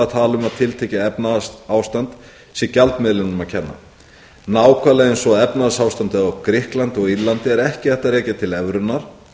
að tala um að tiltekið efnahagsástand sé gjaldmiðlinum að kenna nákvæmlega eins og að efnahagsástandið á grikklandi og írlandi er ekki hægt að rekja til evrunnar